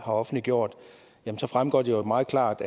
offentliggjort fremgår det jo meget klart